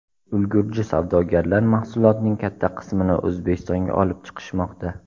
Ulgurji savdogarlar mahsulotning katta qismini O‘zbekistonga olib chiqishmoqda.